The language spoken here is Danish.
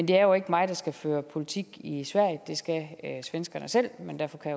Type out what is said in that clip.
det er jo ikke mig der skal føre politik i sverige det skal svenskerne selv men derfor kan